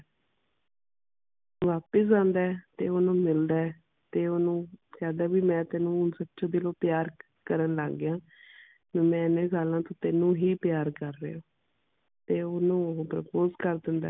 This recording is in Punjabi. ਵਾਪਸ ਆਉਂਦਾ ਹੈ ਤੇ ਓਹਨੂੰ ਮਿਲਦਾ ਹੈ ਤੇ ਓਹਨੂੰ ਕਹਿੰਦਾ ਹੈ ਵੀ ਮੈਂ ਤੈਨੂੰ ਹੁਣ ਸੱਚੇ ਦਿਲੋਂ ਪਿਆਰ ਕਰਨ ਲੱਗ ਗਿਆ। ਵੀ ਮੈਂ ਇਨੇ ਸਾਲਾਂ ਤੋਂ ਤੈਨੂੰ ਹੀ ਪਿਆਰ ਕਰ ਰਿਹਾ ਹਾਂ। ਤੇ ਓਹਨੂੰ ਉਹ purpose ਕਰ ਦਿੰਦਾ ਹੈ